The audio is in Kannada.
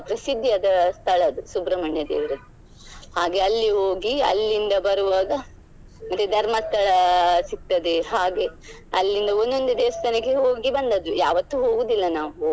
ಪ್ರಸಿದ್ಧಿಯಾದ ಸ್ಥಳ ಅದು ಸುಬ್ರಮಣ್ಯ ದೇವರದ್ದು ಹಾಗೆ ಅಲ್ಲಿ ಹೋಗಿ ಅಲ್ಲಿಂದ ಬರುವಾಗ ಮತ್ತೆ ಧರ್ಮಸ್ಥಳ ಸಿಗ್ತದೆ ಹಾಗೆ ಅಲ್ಲಿಂದ ಒಂದೊಂದೆ ದೇವಸ್ಥಾನಕ್ಕೆ ಹೋಗಿ ಬಂದದ್ದು ಯಾವತ್ತು ಹೋಗುದಿಲ್ಲ ನಾವು.